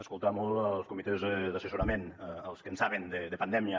escoltar molt els comitès d’assessorament els que en saben de pandèmia